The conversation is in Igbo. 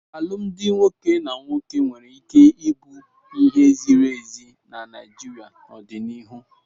Alụmdi nwoke na nwoke nwere ike ịbụ ihe ziri ezi na Naịjirịa n'ọdịnihu.